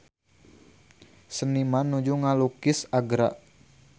Seniman nuju ngalukis Agra